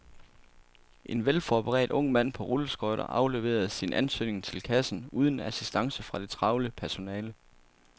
En velforberedt ung mand på rulleskøjter afleverede sin ansøgning til kassen uden assistance fra det travle personale.